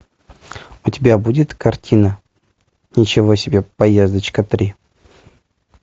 у тебя будет картина ничего себе поездочка три